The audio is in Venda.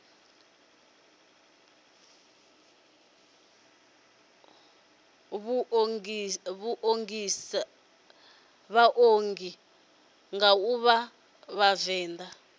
ḓiṱongisa nga u vha vhavenḓa